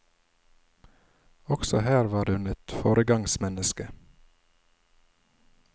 Også her var hun et foregangsmenneske.